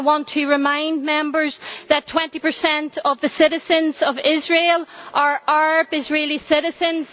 I want to remind Members that 20 of the citizens of Israel are Arab Israeli citizens.